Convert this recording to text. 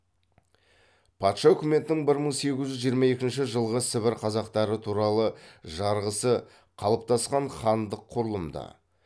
патша үкіметінің бір мың сегіз жүз жиырма екінші жылғы сібір қазақтары туралы жарғысы қалыптасқан хандық құрылымды